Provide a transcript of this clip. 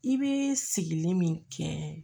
I bɛ sigilen min kɛ